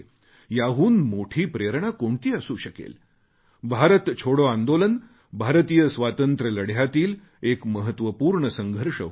याहून मोठी प्रेरणा कोणती असू शकेल भारत छोडो आंदोलन भारतीय स्वातंत्र्यलढ्यातील एक महत्त्वपूर्ण संघर्ष होता